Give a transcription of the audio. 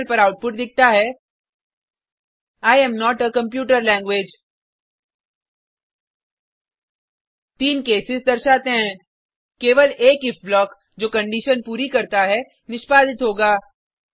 terminal पर output दिखता है I am not a computer language तीन केसेस दर्शाते हैं केवल एक इफ ब्लॉक जो कंडिशन पूरी करता है निष्पादित होगा